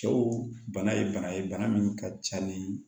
Cɛw bana ye bana ye bana min ka ca ni